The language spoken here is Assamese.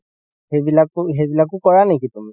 সেইবিলাক~ সেইবিলাকও কৰা নেকি তুমি